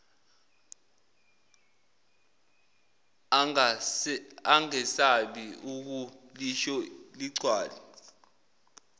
angesabi ukulisho ligcwale